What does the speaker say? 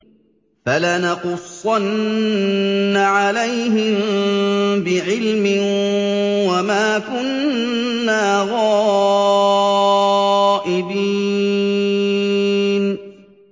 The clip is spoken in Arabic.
فَلَنَقُصَّنَّ عَلَيْهِم بِعِلْمٍ ۖ وَمَا كُنَّا غَائِبِينَ